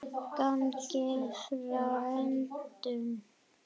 Gangið frá endum.